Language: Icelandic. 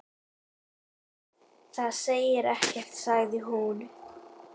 Það segir ekkert sagði hún.